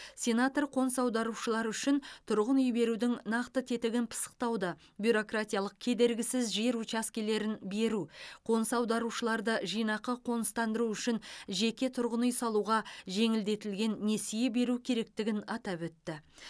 сенатор қоныс аударушылар үшін тұрғын үй берудің нақты тетігін пысықтауды бюрократиялық кедергісіз жер учаскелерін беру қоныс аударушыларды жинақы қоныстандыру үшін жеке тұрғын үй салуға жеңілдетілген несие беру керектігін атап өтті